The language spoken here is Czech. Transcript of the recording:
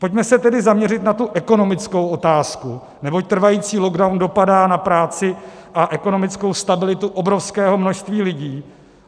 Pojďme se tedy zaměřit na tu ekonomickou otázku, neboť trvající lockdown dopadá na práci a ekonomickou stabilitu obrovského množství lidí.